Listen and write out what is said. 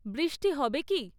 বৃৃষ্টি হবে কি?